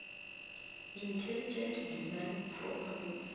intelligent design proponents